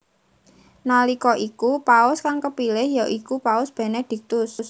Nalika iku paus kang kepilih ya iku Paus Benediktus